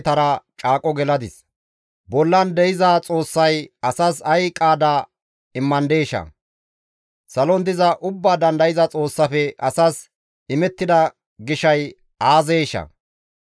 Bollan de7iza Xoossay asas ay qaada immandeesha? Salon diza Ubbaa Dandayza Xoossafe asas imettida gishay aazeeshaa?